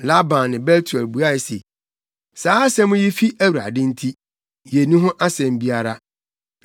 Laban ne Betuel buae se, “Saa asɛm yi fi Awurade nti, yenni ho asɛm biara.